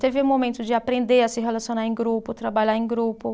Teve um momento de aprender a se relacionar em grupo, trabalhar em grupo.